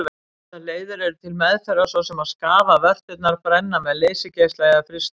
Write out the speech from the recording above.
Ýmsar leiðir eru til meðferðar svo sem að skafa vörturnar, brenna með leysigeisla eða frysta.